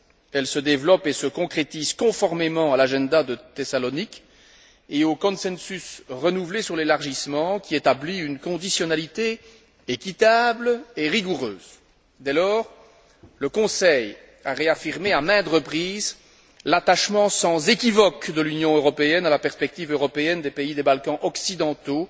Elle se développe et se concrétise conformément à l'agenda de Thessalonique et au consensus renouvelé sur l'élargissement, qui établit une conditionnalité équitable et rigoureuse. Dès lors, le Conseil a réaffirmé à maintes reprises l'attachement sans équivoque de l'Union européenne à la perspective européenne des pays des Balkans occidentaux,